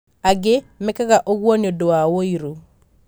angĩ mekaga ũguo nĩũndũ wa wũiru.